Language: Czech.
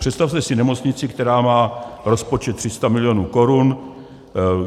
Představte si nemocnici, která má rozpočet 300 milionů korun.